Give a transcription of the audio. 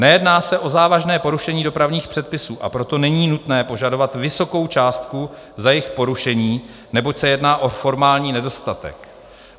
Nejedná se o závažné porušení dopravních předpisů, a proto není nutné požadovat vysokou částku za jejich porušení, neboť se jedná o formální nedostatek.